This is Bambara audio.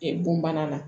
bon bana na